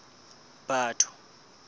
batho